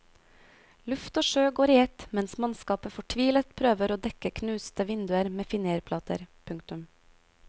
Luft og sjø går i ett mens mannskapet fortvilet prøver å dekke knuste vinduer med finérplater. punktum